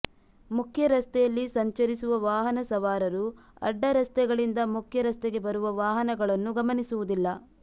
ಮುಖ್ಯರಸ್ತೆಯಲ್ಲಿ ಸಂಚರಿಸುವ ವಾಹನ ಸವಾರರು ಅಡ್ಡ ರಸ್ತೆಗಳಿಂದ ಮುಖ್ಯ ರಸ್ತೆಗೆ ಬರುವ ವಾಹನಗಳನ್ನು ಗಮನಿಸುವುದಿಲ್ಲ